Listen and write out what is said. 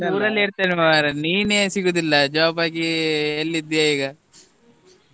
ಇರ್ತೆನೆ ಮರೆ ನೀನೆ ಸಿಗುದಿಲ್ಲ job ಆಗಿ ಎಲ್ಲಿದ್ದೀಯಾ ಈಗ?